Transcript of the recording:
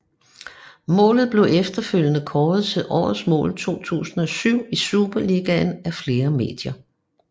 Målet blev efterfølgende kåret til det årets mål 2007 i Superligaen af flere medier